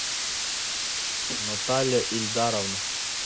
наталья ильдаровна